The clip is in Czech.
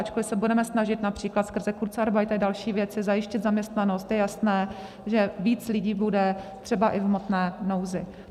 Ačkoli se budeme snažit například skrze kurzarbeit a další věci zajistit zaměstnanost, je jasné, že víc lidí bude třeba i v hmotné nouzi.